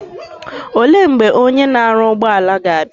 Ole mgbe Onye na aru ugboala ga abia?